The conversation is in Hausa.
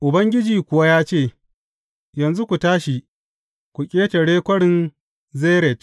Ubangiji kuwa ya ce, Yanzu ku tashi ku ƙetare Kwarin Zered.